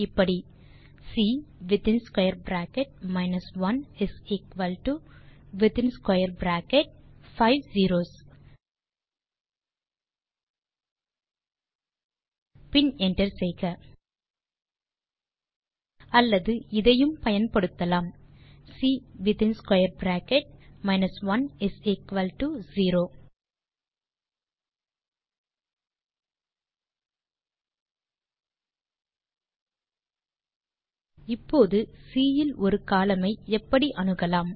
இப்படி C within square bracket 1 within square bracket five zeros பின் enter செய்க அல்லது இதையும் பயன்படுத்தலாம் சி வித்தின்ஸ்கவேர் பிராக்கெட் 10 இப்போது சி இல் ஒரு கோலம்ன் ஐ எப்படி அணுகலாம்